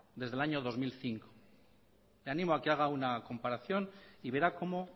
desde el año dos mil cinco le animo a que haga una comparación y verá como